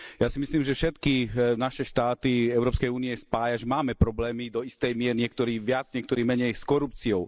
Ja si myslím, že všetky naše štáty Európskej únie spája, že máme problémy do istej miery, niektorí viac, niektorí menej s korupciou.